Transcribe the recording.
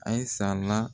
Ayisala